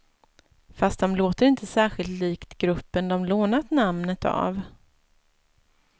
Fast de låter inte särskilt likt gruppen de lånat namnet av.